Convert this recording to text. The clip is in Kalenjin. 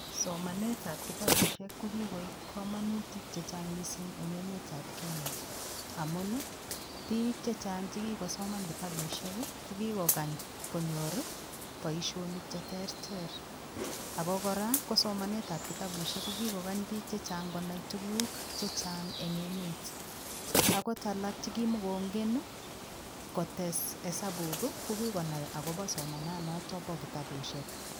Somanetap kitabushek ko kikoip kamanutik chechang mising eng emetap Kenya amun i biik chechang chekikosoman kitabushek kokikokany konyor poishonik cheterter ako kora, ko somanetap kitabushek ko kikokany biik chechang konai tuguk chechang eng emet, akot alak chekimakongen kotes hesabuk, ko kikonai akopo somananoto po kitabushek.